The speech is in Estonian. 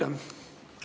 Aitäh!